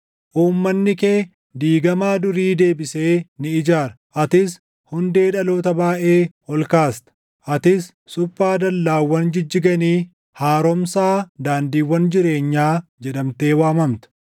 Uummanni kee diigamaa durii deebisee ni ijaara; atis hundee dhaloota baayʼee ol kaasta; atis, Suphaa Dallaawwan Jijjiganii, Haaromsaa Daandiiwwan Jireenyaa jedhamtee waamamta.